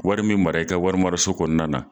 Wari min mara i ka wari maraso kɔnɔna na